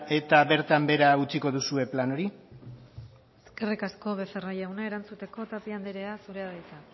eta bertan behera utziko duzue plan hori eskerrik asko becerra jauna erantzuteko tapia anderea zurea da hitza